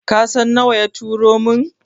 Kasan nawa ya turo mun?